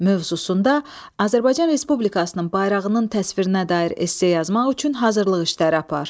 mövzusunda Azərbaycan Respublikasının bayrağının təsvirinə dair esse yazmaq üçün hazırlıq işləri apar.